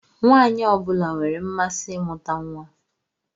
Nwaanyị ọ bụla nwere mmasị imuta nwa.